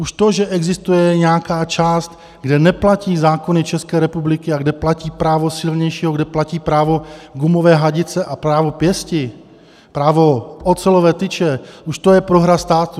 Už to, že existuje nějaká část, kde neplatí zákony České republiky a kde platí právo silnějšího, kde platí právo gumové hadice a právo pěsti, právo ocelové tyče, už to je prohra státu.